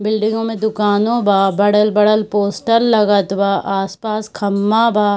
बिल्डिंगो में दुकानो बा बड़ल-बड़ल पोस्टर लगत बा आसपास खंभा बा।